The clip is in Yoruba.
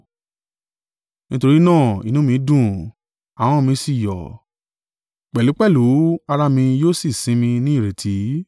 Nítorí náà inú mi dùn, ahọ́n mi sì yọ̀, pẹ̀lúpẹ̀lú ara mi yóò sì sinmi ní ìrètí.